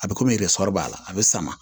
A bɛ komi yɛrɛ sɔrɔ b'a la a bɛ sama